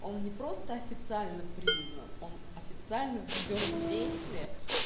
он не просто официально признан он официально введён в действие